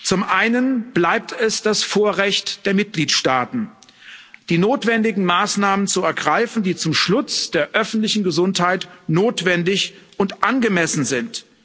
Zum einen bleibt es das Vorrecht der Mitgliedstaaten, die notwendigen Maßnahmen zu ergreifen, die zum Schutz der öffentlichen Gesundheit notwendig und angemessen sind.